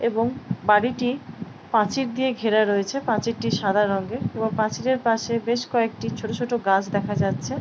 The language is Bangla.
এবং বাড়িটি পাঁচীর দিয়ে ঘেরা রয়েছেপাঁচীরটি সাদা রঙের এবং পাচিঁড়ের পাশে বেশ কয়েকটি ছোট ছোট গাছ দেখা যাচ্ছে --